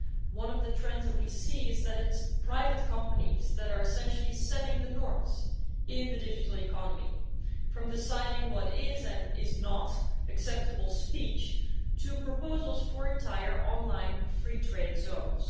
One of the trends that we see is that its private companies that are essentially setting the norms in the digital economy, from deciding what is and is not acceptable speech to proposals for entire online free trade zones.